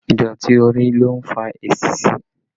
Ìdọ̀tí orí ló ń fa esisí